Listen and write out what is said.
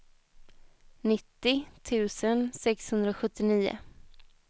nittio tusen sexhundrasjuttionio